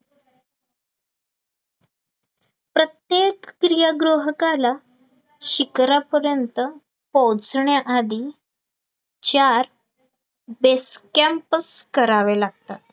प्रत्येक स्त्रीय गृहकाला शिखरापर्यंत पोहचण्या आधी चार basecamp करावे लागतात